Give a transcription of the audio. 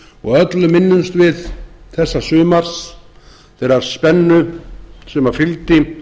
og öll minnumst við þessa sumars þeirrar spennu sem fylgdi